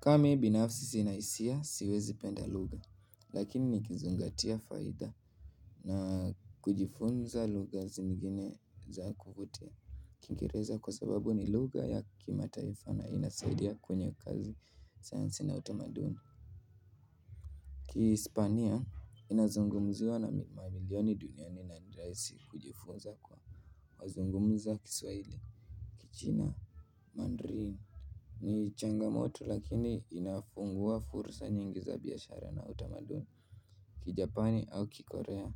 Kama mi binafsi sina hisia siwezi penda lugha, lakini nikizingatia faida na kujifunza lugha zingine za kuvutia kingereza kwa sababu ni lugha ya kimataifa na inasaidia kwenye kazi, sayansi na utamaduni. Kihispania inazungumziwa na mamilioni duniani na nirahisi kujifunza kwa kuzungumza kiswahili, kichina, mandrili ni changamoto lakini inafungua fursa nyingi za biashara na utamaduni Kijapani au kikorea,